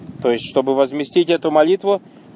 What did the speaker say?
то есть чтобы возместить эту молитву